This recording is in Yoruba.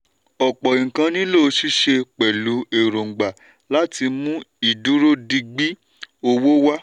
ọ̀pọ̀ nǹkan nílò ṣíṣe pẹ̀lú èròǹgbà láti mú ìdúródigbí owó wà.